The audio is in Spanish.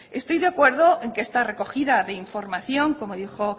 estoy de acuerdo en que esta recogida de información como dijo